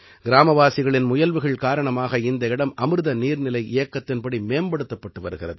கிராமவாசிகளின் முயல்வுகள் காரணமாக இந்த இடம் அமிர்த நீர்நிலை இயக்கத்தின்படி மேம்படுத்தப்பட்டு வருகிறது